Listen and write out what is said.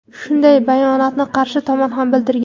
Shunday bayonotni qarshi tomon ham bildirgan.